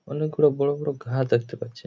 অনেকগুলো বড় বড় ঘাট দেখতে পাচ্ছি।